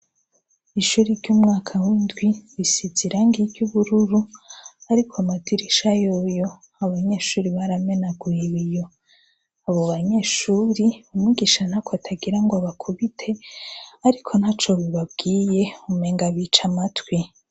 Ishure ryumwaka windwi isinzwe irangi ryubururu ariko amadirisha yoyo abanyeshure baramenaguye ibiyo abo banyeshuri umwigisha ntako atagira ngo abakubite ariko ntaco bibabwiye umenga biyica amatwi